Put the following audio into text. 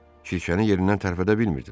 Kirşəni yerindən tərpədə bilmirdilər.